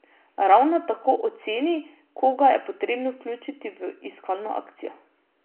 Ravno tako oceni, koga je potrebno vključiti v iskalno akcijo.